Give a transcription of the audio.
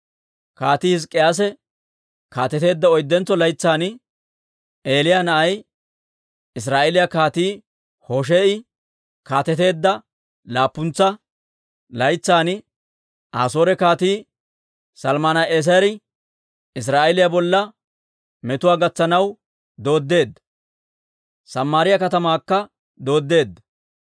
Kaatii Hizk'k'iyaase kaateteedda oyddentso laytsan, Elah na'ay Israa'eeliyaa Kaatii Hoshee'i kaateteedda laappuntsa laytsan, Asoore Kaatii Salman"eeseri Israa'eeliyaa bolla metuwaa gatsanaw dooddeedda; Samaariyaa katamaakka dooddeedda.